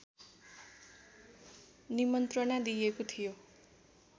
निमन्त्रणा दिएको थियो